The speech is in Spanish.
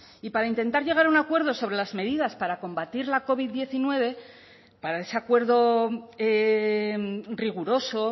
y para intentar llegar a un acuerdo sobre las medidas para combatir la covid diecinueve para ese acuerdo riguroso